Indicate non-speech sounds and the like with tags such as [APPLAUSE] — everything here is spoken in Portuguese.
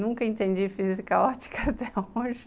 Nunca entendi física [LAUGHS] ótica até hoje.